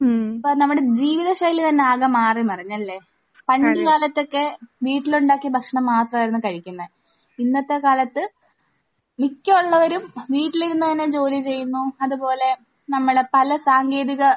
അപ്പോൾ നമ്മുടെ ജീവിതശൈലി തന്നെ ആകെ മാറി മറിഞ്ഞല്ലേ? പണ്ട് കാലത്തൊക്കെ വീട്ടിൽ ഉണ്ടാക്കിയ ഭക്ഷണം മാത്രമായിരുന്നു കഴിക്കുന്നത്. ഇന്നത്തെ കാലത്ത് മിക്ക ഉള്ളവരും വീട്ടിൽ ഇരുന്ന് തന്നെ ജോലി ചെയ്യുന്നു. അതുപോലെ നമ്മൾ പല സാങ്കേതിക